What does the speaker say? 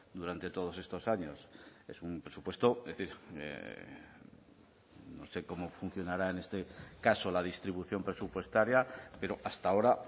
durante todos estos años es un presupuesto es decir no sé cómo funcionará en este caso la distribución presupuestaria pero hasta ahora